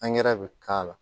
bɛ k'a la